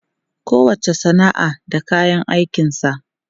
Kowacce sana'a da kayan aikinsa.